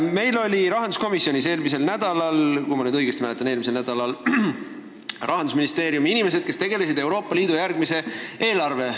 Meil olid rahanduskomisjonis, kui ma õigesti mäletan, siis eelmisel nädalal Rahandusministeeriumi inimesed, kes tegelevad Euroopa Liidu järgmise eelarveperioodiga.